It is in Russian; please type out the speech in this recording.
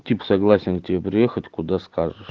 тип согласен к тебе приехать куда скажешь